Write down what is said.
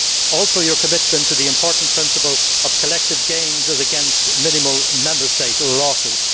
Also, your commitment to the important principle of collective gains as against minimal Member State losses.